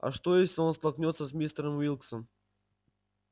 а что если он столкнётся с мистером уилксом